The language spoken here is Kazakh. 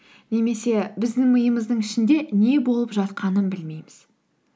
немесе біздің миымыздың ішінде не болып жатқанын білмейміз